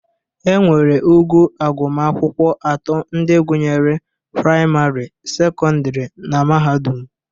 Enwere ogo agụmakwụkwọ atọ ndị gụnyere: prịamarị, sekọndịrị na mahadụm.